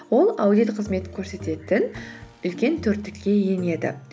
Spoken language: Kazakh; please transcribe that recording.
ол аудит қызметін көрсететін үлкен төрттікке енеді